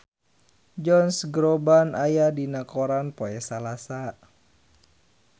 Josh Groban aya dina koran poe Salasa